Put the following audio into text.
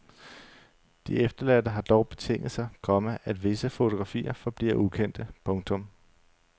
De efterladte har dog betinget sig, komma at visse fotografier forbliver ukendte. punktum